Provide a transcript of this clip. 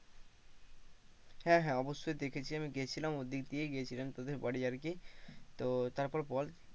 হ্যাঁ হ্যাঁ অবশ্যই ওই দিক দিয়ে গিয়েছিলাম তোদের বাড়ি আর কি তো তারপর বল?